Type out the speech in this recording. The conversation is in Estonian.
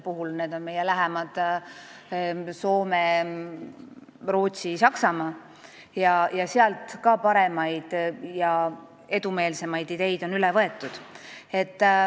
Mõtlen meie lähemaid naabreid Soomet, Rootsit ja Saksamaad – ka sealt on paremaid ja edumeelsemaid ideid üle võetud.